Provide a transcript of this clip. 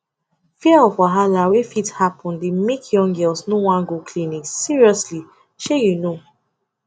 fear of wahala wey fit happen dey make young girls no wan go clinic seriously shey you know